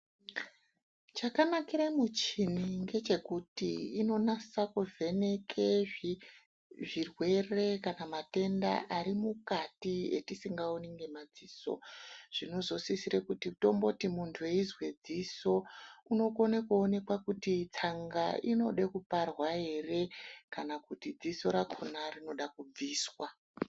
Chakanakire muchini ngechekuti inonasa kuvheneke zvirwere kana matenda ari mukati etisingaoni ngema dziso zvinozosisire kuti tomboti muntu eizwe dziso unokona kuonekwa kuti tsanga inode kuparwa ere kana kuti dziso rakona rinoda kubviswa.